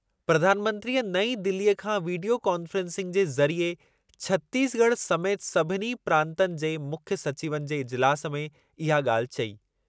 प्रधानमंत्रीअ नईं दिलीअ खां वीडीयो कॉन्फ्रेंसिंग के ज़रिए छतीसगढ़ समेति सभिनी प्रांतनि जे मुख्यु सचिवनि जे इजिलासु में इहा ॻाल्हि चई।